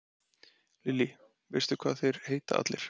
Lillý: Veistu hvað þeir heita allir?